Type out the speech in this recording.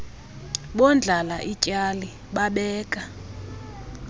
bondlala ityali babeka